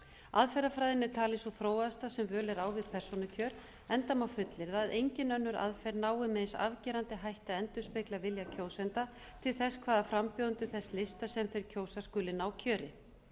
aðferðafræðin er talin sú þróaðasta sem völ er á við persónukjör enda mál fullyrða að engin önnur aðferð nái með eins afgerandi hætti að endurspegla vilja kjósenda til þess hvaða frambjóðendur þess lista sem þeir kjósa skuli ná kjöri